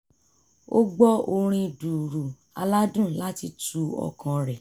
ó gbọ orin dùùrù aládùn láti tu ọkàn rẹ̀